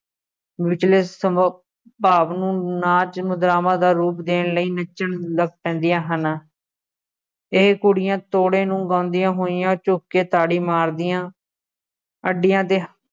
ਵਿਚਲੇ ਸੰਭਵ ਭਾਵ ਨੂੰ ਨਾਚ ਮੁਦਰਾਵਾਂ ਦਾ ਰੂਪ ਦੇਣ ਲਈ ਨੱਚਣ ਲੱਗ ਪੈਂਦੀਆਂ ਹਨ, ਇਹ ਕੁੜੀਆਂ ਤੋੜੇ ਨੂੰ ਗਾਉਂਦੀਆਂ ਹੋਈਆਂ ਚੁੱਕ ਕੇ ਤਾੜੀ ਮਾਰਦੀਆਂ ਅੱਡੀਆ 'ਤੇ